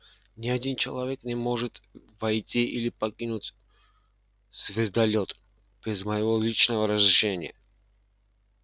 ни один человек не может войти или покинуть звездолёт без моего личного разрешения